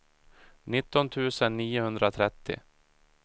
nittio tusen niohundratrettio